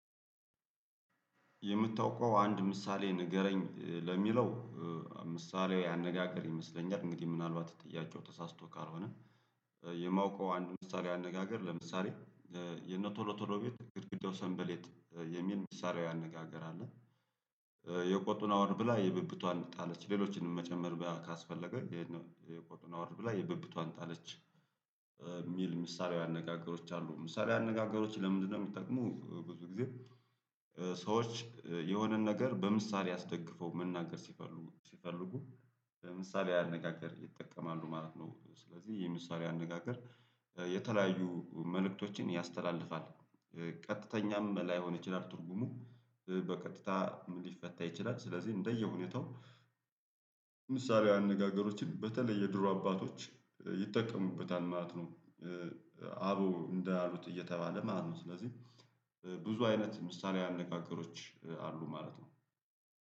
የምታውቀው አንድ ምሳሌ ንገረኝ ለሚለው ምሳሌው ያነጋገር ይመስለኛል እንግዲህ ምናልባት ጥያቄው ተሳስቶ ካልሆነ የማውቀው አንድ ምሳሌ አነጋገር ለምሳሌ የነ ቶሎ ቶሎ ቤት ግድግዳው ሰንበሌጥየሚል ምሳሌያዊ አነጋገር አለ። የቆጡን አወርድ ብላ የብብቷን ጣለች ሌሎችንም መጨመር ካስፈለገ ይሄን የቆጡን አውር ብላ የብብቷን ጣለች የሚል ምሳሌያዊ አነጋገሮች አሉ ምሳሌያዊ አነጋገሮች ለምንድነው ሚጠቅሙ ብዙ ጊዜ ሰዎች የሆነን ነገር በምሳሌ አስደግፎ መናገር ሲፈልጉ ሲፈልጉ በምሳሌ አነጋገር ይጠቀማሉ ማለት ነው ስለዚህ የምሳሌ አነጋገር የተለያዩ መልእክቶችን ያስተላልፋል። ቀጥተኛም ላይሆን ይችላል ትርጉሙ በቀጥታ ሊፈታ ይችላል ስለዚህ እንደየሁኔታው ምሳሌው አነጋገሮችን በተለይ ድሮ አባቶች ይጠቀሙበታል ማለት ነው አበው እንዳሉት እየተባለ ማለት ነው ስለዚህ ብዙ አይነት ምሳሌ አነጋገሮች አሉ ማለት ነው